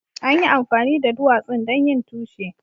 An yi amfani da duwatsun don yin tushe.